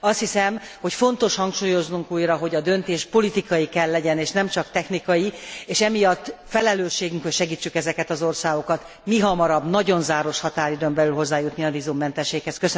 Azt hiszem, hogy fontos hangsúlyoznunk újra, hogy a döntés politikai kell legyen és nem csak technikai, és emiatt felelősségünk, hogy segítsük ezeket az országokat, mihamarabb, nagyon záros határidőn belül hozzájutni a vízummentességhez.